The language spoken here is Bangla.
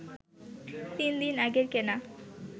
তিন দিন আগের কেনা